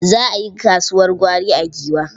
Za a yi kasuwar gwari a Giwa.